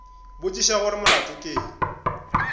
botšiša gore molato ke eng